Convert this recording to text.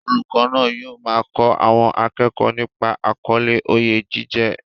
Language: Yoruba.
Olùkọ́ náà yóò máa kọ́ àwọn akẹ́kọ̀ọ́ nípa àkọlé "Oyè jíjẹ"